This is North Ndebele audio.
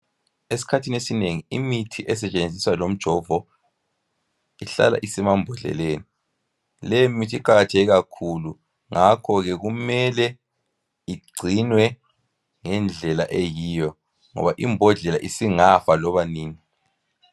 Esikhathini esinengi imithi esetshenziswa lomjovo, ihlala isemambodleleni. Leyimithi iqakathekile kakhulu. Ngakho ke kumele igcinwe ngendlela eyiyo, ngoba imbodlela isingafa loba nini.